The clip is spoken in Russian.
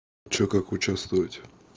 что как участвовать